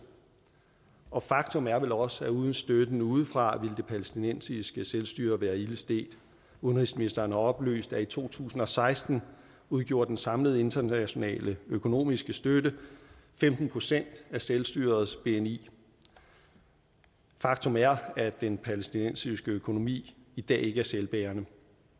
og faktum er vel også at uden støtten udefra ville det palæstinensiske selvstyre være ilde stedt udenrigsministeren har oplyst at i to tusind og seksten udgjorde den samlede internationale økonomiske støtte femten procent af selvstyrets bni faktum er at den palæstinensiske økonomi i dag ikke er selvbærende